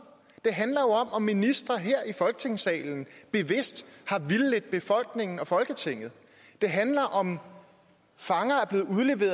det handler om om ministre her i folketingssalen bevidst har vildledt befolkningen og folketinget det handler om om fanger